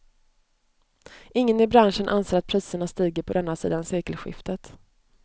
Ingen i branschen anser att priserna stiger på denna sidan sekelskiftet.